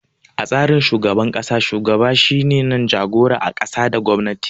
A tsarin shugaban ƙasa, shugaban shine jagoran ƙasa da gwamnati.